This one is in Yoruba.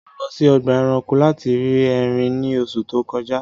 Mo lọ sí ọgba ẹ̀ránkò lati ri èrín ní òṣù tó kọ̀jà